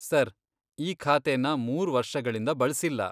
Sir, ಈ ಖಾತೆನ ಮೂರ್ ವರ್ಷಗಳಿಂದ ಬಳ್ಸಿಲ್ಲ.